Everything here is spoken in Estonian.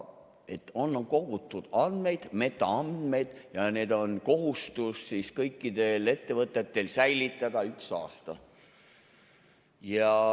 Et on kogutud andmeid, metaandmeid, ja kõikidel ettevõtetel on kohustus neid säilitada üks aasta.